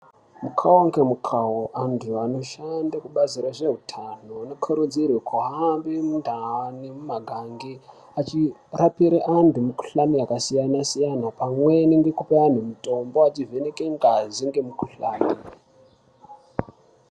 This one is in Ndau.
Mukau ngemukau antu anoshande kubazi rezveutano vanokurudzirwe kuhambe mundau nemumagange achirapire antu mukuhlani yakasiyana siyana pamweni ngekupe antu mitombo achivheneke ngazi ngemukuhlani.